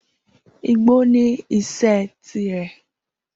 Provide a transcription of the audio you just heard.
Igbó ní iṣẹ́ tirẹ̀.